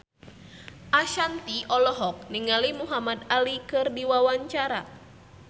Ashanti olohok ningali Muhamad Ali keur diwawancara